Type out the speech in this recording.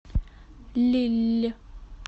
лилль